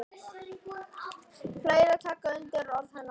Fleiri taka undir orð hennar.